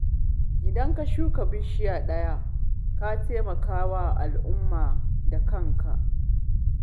Idan ka shuka bishiya ɗaya, ka taimaka wa al'ummarka da kanka